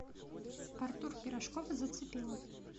артур пирожков зацепила